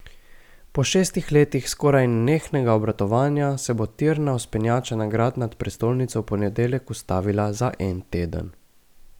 Po šestih letih skoraj nenehnega obratovanja se bo tirna vzpenjača na grad nad prestolnico v ponedeljek ustavila za en teden.